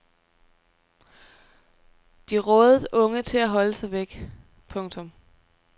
De rådede unge til at holde sig væk. punktum